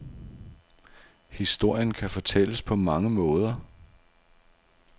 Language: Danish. Historien kan fortælles på mange måder.